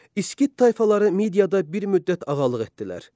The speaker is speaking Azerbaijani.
İskit tayfaları Midiyada bir müddət ağalıq etdilər.